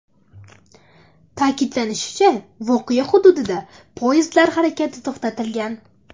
Ta’kidlanishicha, voqea hududida poyezdlar harakati to‘xtatilgan.